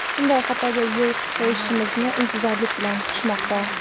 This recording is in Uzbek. shunday xatoga yo‘l qo‘yishimizni intizorlik bilan kutishmoqda.